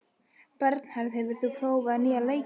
Bernharð, hefur þú prófað nýja leikinn?